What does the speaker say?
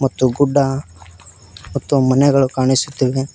ಮತ್ತು ಗುಡ್ಡ ಮತ್ತು ಮನೆಗಳು ಕಾಣಿಸುತ್ತಿವೆ.